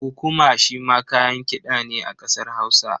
Kukuma shi ma kayan kiɗa ne a ƙasar Hausa.